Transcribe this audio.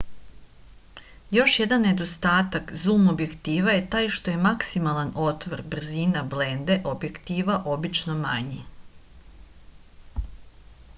још један недостатак зум објектива је тај што је максимални отвор брзина бленде објектива обично мањи